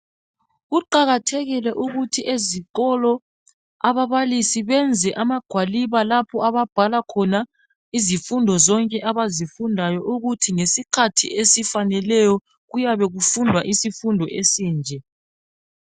Kuqakathekile ukuthi ezikolo ababalisi benze amagwaliba lapho ababhala khona izifundo zonke abazifundayo ukuthi ngesikhathi esifaneleyo kuyabe kufundwa isifundo esinje.